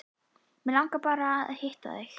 Mig langaði bara til að hitta þig.